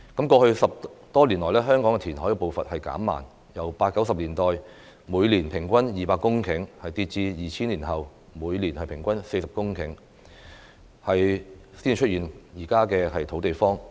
過去10多年來，香港填海步伐減慢，由八九十年代每年平均200公頃，跌至2000年後每年平均40公頃，才會出現時的"土地荒"。